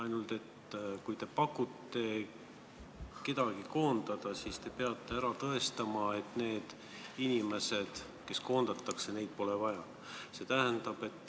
Ainult kui te pakute kedagi koondada, siis te peate tõestama, et neid inimesi, kes koondatakse, pole vaja.